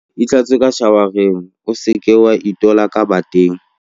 Itlhatswe ka shawara o se ke wa itola ka bateng.